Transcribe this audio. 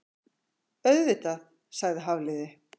Auðvitað- sagði Hafliði.